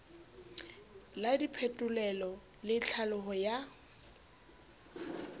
la diphetolelo le tlhaolo ya